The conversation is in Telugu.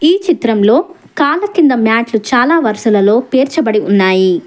ఈ చిత్రంలో కాళ్ళ కింద మ్యాట్లు చాలా వరుసలలో పేర్చబడి ఉన్నాయి.